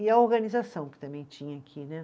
E a organização que também tinha aqui, né?